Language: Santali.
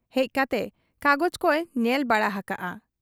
ᱦᱮᱡ ᱠᱟᱛᱮ ᱠᱟᱜᱚᱡᱽ ᱠᱚᱭ ᱧᱮᱞ ᱵᱟᱲᱟ ᱦᱟᱠᱟᱜ ᱟ ᱾